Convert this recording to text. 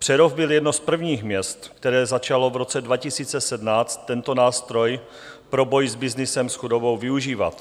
Přerov byl jedno z prvních měst, které začalo v roce 2017 tento nástroj pro boj s byznysem s chudobou využívat.